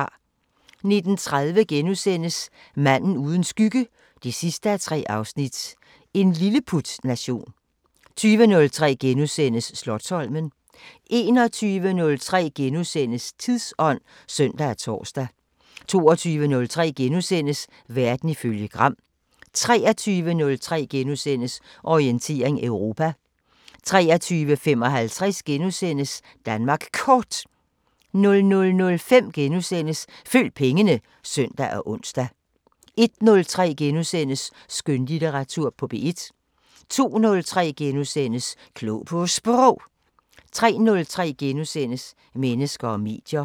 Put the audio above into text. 19:30: Manden uden skygge 3:3 – En lilleputnation * 20:03: Slotsholmen * 21:03: Tidsånd *(søn og tor) 22:03: Verden ifølge Gram * 23:03: Orientering Europa * 23:55: Danmark Kort * 00:05: Følg pengene *(søn og ons) 01:03: Skønlitteratur på P1 * 02:03: Klog på Sprog * 03:03: Mennesker og medier *